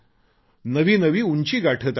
नवी नवी उंची गाठत आहेत